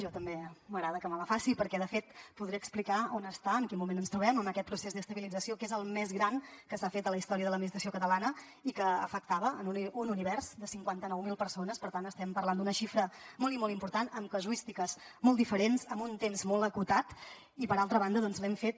a mi també m’agrada que me la faci perquè de fet podré explicar on està en quin moment ens trobem en aquest procés d’estabilització que és el més gran que s’ha fet a la història de l’administració catalana i que afectava un univers de cinquanta nou mil persones per tant estem parlant d’una xifra molt i molt important amb casuístiques molt diferents amb un temps molt acotat i per altra banda l’hem fet